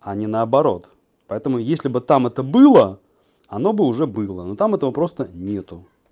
а не наоборот поэтому если бы там это было оно бы уже было но там этого просто нет